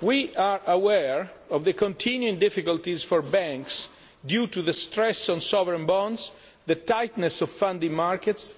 We are aware of the continuing difficulties for banks due to the stress on sovereign bonds, the tightness of funding markets